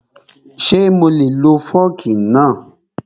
Ṣé mo lè lo fọ́ọ̀kì náà?